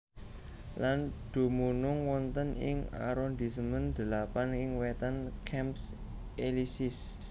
Lan dumunung wonten ing arondisemen delapan ing wétan Champs Élysées